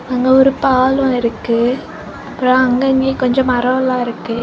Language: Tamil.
அங்க ஒரு பாலம் இருக்கு அப்புறம் அங்கங்க கொஞ்சம் மரம் எல்லாம் இருக்கு.